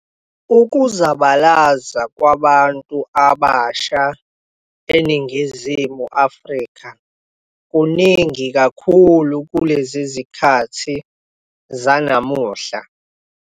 Ukuzabalaza kwabantu abasha eNingizimu Afrika kuningi kakhulu kulezi zikhathi zanamuhla.